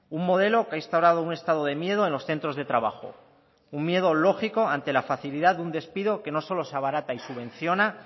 un modelo que ha instaurado un estado de miedo en los centros de trabajo un miedo lógico ante la facilidad de un despido que no solo se abarata y subvenciona